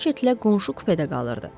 kashetlə qonşu kupedə qalırdı.